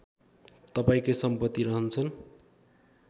तपाईँकै सम्पति रहन्छन्